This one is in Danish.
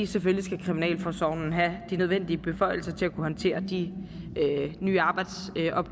selvfølgelig skal kriminalforsorgen have de nødvendige beføjelser til at kunne håndtere de nye arbejdsopgaver